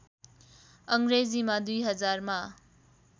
अङ्ग्रेजीमा २००० मा